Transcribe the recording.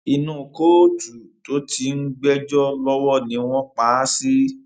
inú kóòtù tó ti ń gbẹjọ lọwọ ni wọn pa á sí